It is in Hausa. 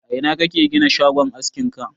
A ina kake gina shagon askin ka?